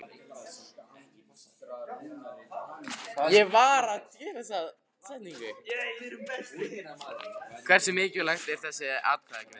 Hversu mikilvæg er þessi atkvæðagreiðsla?